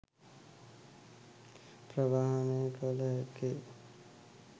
ප්‍රවාහනය කල හැක්කේ